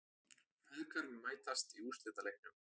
Feðgar mætast í úrslitaleiknum